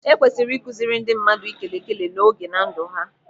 Ekwesịrị ịkụziri ndị mmadụ ikele ikele n'oge na ndụ ha.